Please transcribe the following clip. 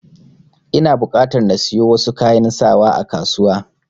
Ina buƙatar na siyo wasu kayan sawa a kasuwa.